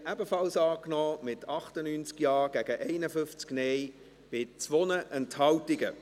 Sie haben diese Planungserklärung 3 ebenfalls angenommen, mit 98 Ja- gegen 51 NeinStimmen bei 2 Enthaltungen.